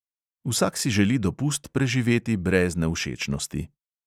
Vsak si želi dopust preživeti brez nevšečnosti.